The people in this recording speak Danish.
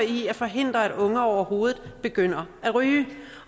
i at forhindre at unge overhovedet begynder at ryge